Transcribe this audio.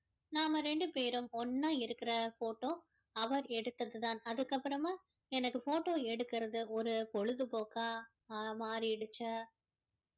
நாம இரண்டு பேரும் ஒன்னா இருக்கிற photo அவர் எடுத்தது தான் அதுக்கு அப்பறமா எனக்கு எடுக்கிறது ஒரு பொழுது போக்கா அஹ் மாறிடுச்சி